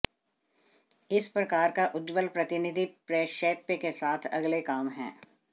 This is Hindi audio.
इस प्रकार का उज्ज्वल प्रतिनिधि प्रक्षेप्य के साथ अगले काम है